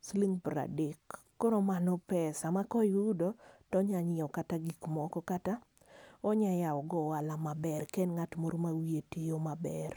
siling piero adek. Koro mano pesa ma ka oyudo, to onyalo nyiewo kata gik moko. Kata onyalo yawo godo ohala maber, ka en ng'at moro ma wiye tiyo maber.